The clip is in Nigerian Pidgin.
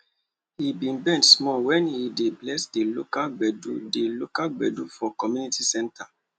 he be bend small wen he dey bless di local gbedu di local gbedu for community centre